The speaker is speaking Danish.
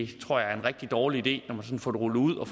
det tror jeg er en rigtig dårlig idé når man får det rullet ud og